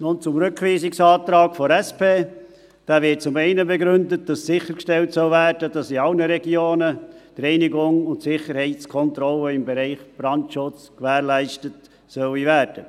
Zum Rückweisungsantrag der SP: Dieser wird zum einen damit begründet, dass sichergestellt werden soll, dass die Reinigung und die Sicherheitskontrolle im Bereich Brandschutz in allen Regionen gewährleistet werden sollen.